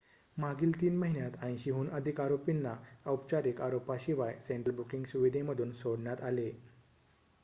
मागील 3 महिन्यांत 80 हून अधिक आरोपींना औपचारिक आरोपाशिवाय सेंट्रल बुकिंग सुविधेमधून सोडण्यात आले